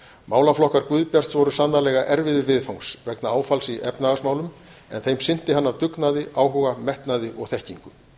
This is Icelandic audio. málaflokkar guðbjarts voru sannarlega erfiðir viðfangs vegna áfalls í efnahagsmálum en þeim sinnti hann af dugnaði áhuga og þekkingu